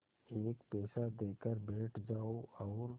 एक पैसा देकर बैठ जाओ और